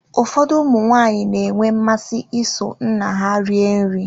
Ụfọdụ ụmụ nwaanyị na-enwe mmasị iso nna ha rie nri.